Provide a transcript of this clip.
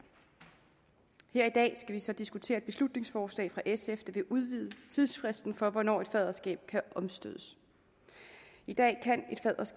her i dag vi så diskutere et beslutningsforslag af sf der vil udvide tidsfristen for hvornår et faderskab kan omstødes i dag kan